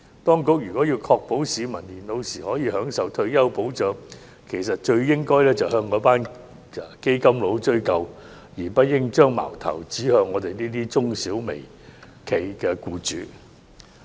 當局如要確保市民年老時可享受退休保障，其實最應向那群"基金佬"追究，而不應把矛頭指向我們這些中小微企的僱主。